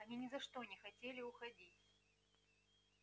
они ни за что не хотели уходить